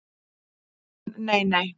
Hún: Nei nei.